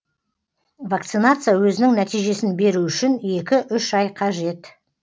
вакцинация өзінің нәтижесін беру үшін екі үш ай қажет